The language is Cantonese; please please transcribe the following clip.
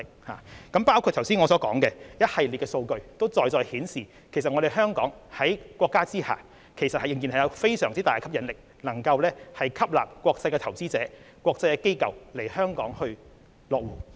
我剛才提到一系列的數據，在在顯示香港在國家的支持下仍然有相當大的吸引力，可以吸納國際投資者和國際機構來港落戶。